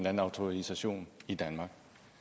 anden autorisation i danmark